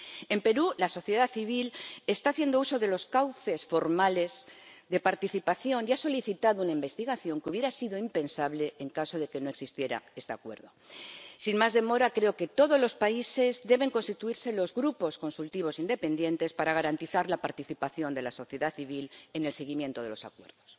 En Perú la sociedad civil está haciendo uso de los cauces formales de participación y ha solicitado una investigación que hubiera sido impensable en caso de que no existiera este Acuerdo. Sin más demora, creo que en todos los países deben constituirse los grupos consultivos independientes para garantizar la participación de la sociedad civil en el seguimiento de los Acuerdos.